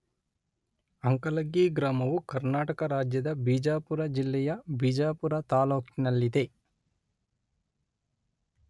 ಅಂಕಲಗಿ ಗ್ರಾಮವು ಕರ್ನಾಟಕ ರಾಜ್ಯದ ಬಿಜಾಪುರ ಜಿಲ್ಲೆಯ ಬಿಜಾಪುರ ತಾಲ್ಲೂಕಿನಲ್ಲಿದೆ.